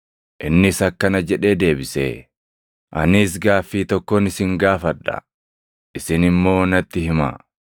Innis akkana jedhee deebise; “Anis gaaffii tokkon isin gaafadha. Isin immoo natti himaa: